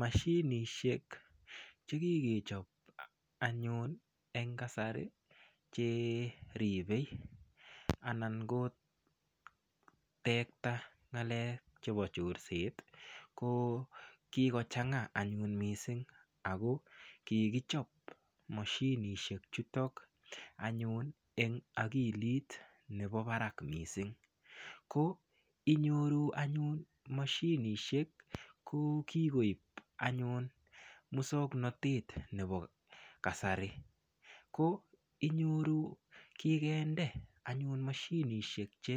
Mashinisiek chekikichob anyun en kasari cheribe anan kotekta ng'alek chebo chorset ko kikochang'a anyun missing' amun kikichop moshinisiek chuton anyun en akilit nebo barak missing' ko inyoru anyun moshinisiek ko kikoib anyun muswongnotet nebo kasari ko inyoru kikinde anyun moshinisiek che